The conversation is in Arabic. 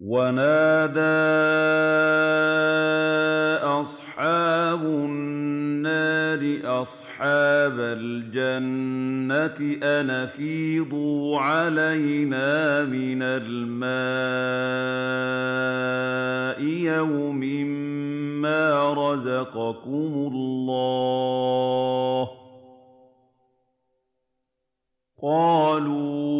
وَنَادَىٰ أَصْحَابُ النَّارِ أَصْحَابَ الْجَنَّةِ أَنْ أَفِيضُوا عَلَيْنَا مِنَ الْمَاءِ أَوْ مِمَّا رَزَقَكُمُ اللَّهُ ۚ قَالُوا